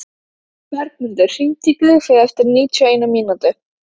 Bergmundur, hringdu í Gunnfríði eftir níutíu og eina mínútur.